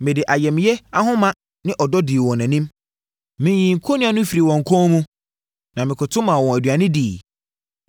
Mede ayamyɛ ahoma ne ɔdɔ dii wɔn anim; meyii kɔnnua no firii wɔn kɔn mu na mekoto maa wɔn aduane diiɛ.